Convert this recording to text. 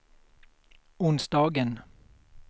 onsdagen